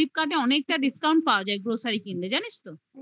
flipkart এ অনেকটা discount পাওয়া যায়. grocery কিনবে. জানিস তো